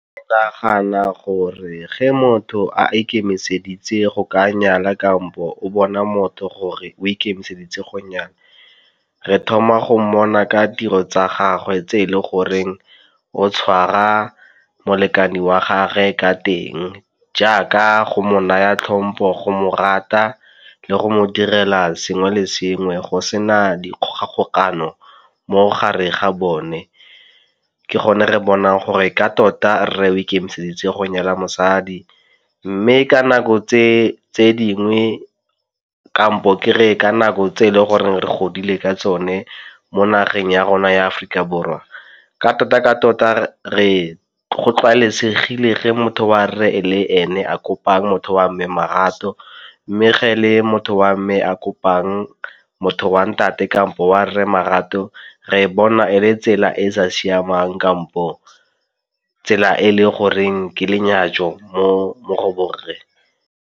Ke nagana gore ge motho a ikemiseditse go ka nyala kampo o bona motho gore o ikemiseditse go nyala, re thoma go mmona ka tiro tsa gagwe tse e le goreng o tshwara molekane wa gage ka teng, jaaka go mo naya tlhompo, go mo rata le go mo direla sengwe le sengwe go sena dikgogakano mo gareng ga bone. Ke gone re bonang gore ka tota re ikemiseditse go nyala mosadi. Mme ka nako tse tse dingwe kampo ke re ka nako tse e leng gore re godile ka tsone mo nageng ya rona ya aforika borwa ka tota ka tota re go tlwaelesegileng ge motho wa re le ene a kopang motho wa mme marato, mme ga e le motho wa mme a kopang motho wa ntate kampo wa rre marato re bona e le tsela e e sa siamang kampo tsela e le goreng ke lenyatso mo go borre.